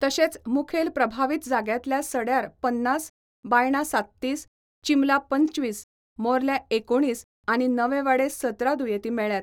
तशेच मुखेल प्रभावित जाग्यांतल्या सड्यार पन्नास, बायणा सात्तीस, चिंबला पंचवीस, मोर्ल्या एकुणीस आनी नवेवाडे सतरा दुयेती मेळ्ळ्यात.